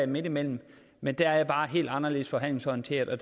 midtimellem men der er jeg bare helt anderledes forhandlingsorienteret og